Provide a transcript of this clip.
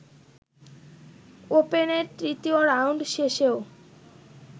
ওপেনের তৃতীয় রাউন্ড শেষেও